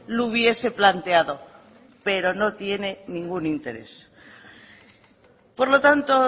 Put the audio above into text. lo hubiese planteado pero no tiene ningún interés por lo tanto